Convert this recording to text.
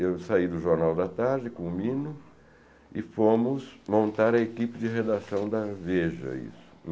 Eu saí do Jornal da Tarde, com o Mino, e fomos montar a equipe de redação da Veja isso.